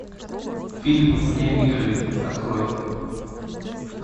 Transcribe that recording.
фильм вне игры открой